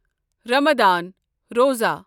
رَمادھان روزہ